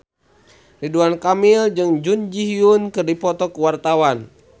Ridwan Kamil jeung Jun Ji Hyun keur dipoto ku wartawan